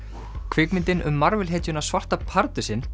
kvikmyndin um Marvel hetjuna svarta pardusinn